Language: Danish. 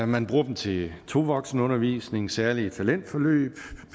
man bruger dem til to voksenundervisning særlige talentforløb